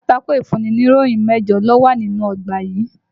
Pátákó ìfúnniníròyì mẹ́jọ ló wà nínú ọgbà yìí.